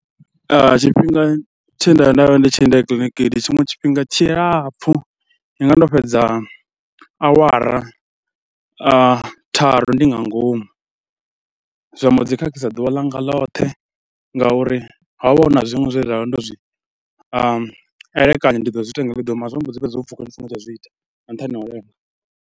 Tshifhinga tshe nda ya nda vha ndi tshi lindela kiḽiniki ndi tshiṅwe tshifhinga tshilapfhu, ndi nga vha ndo fhedza awara tharu ndi nga ngomu. Zwa mbo ḓi khakhisa ḓuvha ḽanga loṱhe ngauri ho vha hu na zwiṅwe zwe nda vha ndo zwi elekanya ndi ḓo zwi ita nga iḽo ḓuvha mara zwo mbo ḓi fhedza zwo pfhuka ndi songo tsha zwi ita nga nṱhani ha u lenga.